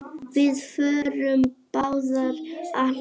Við förum báðar að hlæja.